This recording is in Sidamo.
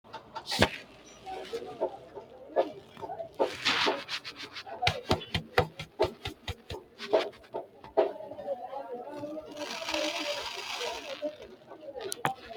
Kunino yaa bushshu kalaqa- manna bushshu hoshooshama taalo ikkansannino roorsite lowo mu’rora mu’rate dancha kaayyo kalaqqanno Kunino yaa bushshu kalaqa-.